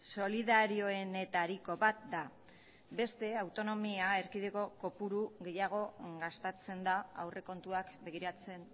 solidarioenetariko bat da beste autonomia erkidego kopuru gehiago gastatzen da aurrekontuak begiratzen